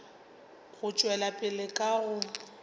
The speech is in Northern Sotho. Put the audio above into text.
go tšwela pele ka go